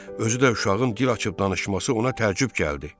Özü də uşağın dil açıb danışması ona təəccüb gəldi.